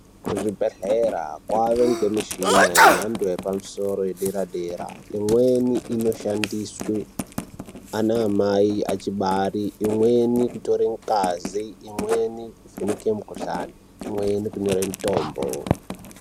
Kuzvibhedhlera kwane mishini yemhando yepamusoro yedera dera imweni inoshandiswa ana amai achibara imweni kutore ngazi imweni kuvheneke mikuhlani imweni kunyore mitombo.